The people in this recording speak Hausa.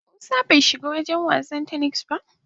Musa bai shiga share wagen wasan "tennis" ba.